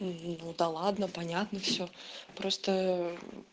да ладно понятно всё просто